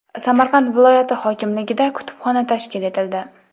Samarqand viloyati hokimligida kutubxona tashkil etildi.